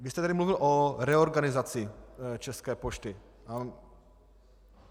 Vy jste tady mluvil o reorganizaci České pošty.